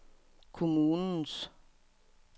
kommunens